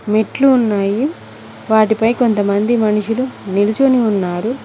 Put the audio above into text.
మెట్లు ఉన్నాయి వాటిపై కొంతమంది మనుషులు నిలుచుని ఉన్నారు.